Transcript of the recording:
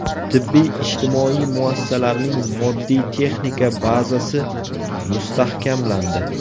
Tibbiy-ijtimoiy muassasalarning moddiy-texnika bazasi mustahkamlandi.